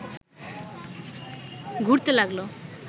ঘুরতে লাগল